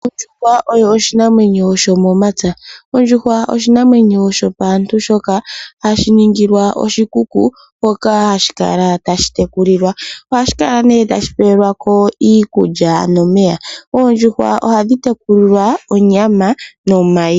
Ondjuhwa oyo oshinamwenyo shomomapya ,ondjuhwa oshinamwenyo shopaantu shoka hashiningilwa oshikuku moka hashi kala tashi tekilulilwa ohashi kala nee pewelwa ko iikulya nomeya oondjuhwa ohadhi tekulilwa onyama nomayi.